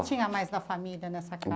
Tinha mais da família nessa